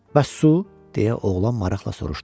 Bəs su, deyə oğlan maraqla soruşdu.